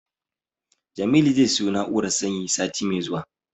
Jamilu zai siyo na'urar sanyi sati mai zuwa.